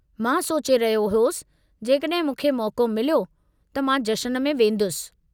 मां सोचे रहियो होसि जेकड॒हिं मूंखे मौक़ो मिलियो, त मां जश्न में वेंदुसि।